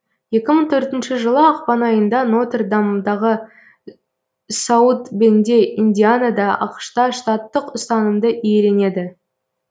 екі мың төртінші жылы ақпан айында нотер дамдағы саут бенде индианада ақш та штаттық ұстанымды иеленеді